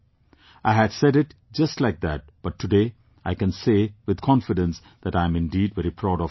I had said it just like that, but today I can say with confidence that I am indeed very proud of you all